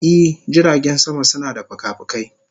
I, jiragen sama suna da fikafikai.